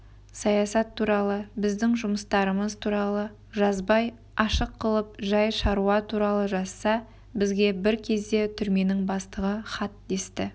саясат туралы біздің жұмыстарымыз туралы жазбай ашық қылып жай шаруа туралы жазса бізге бір кезде түрменің бастығы хат десті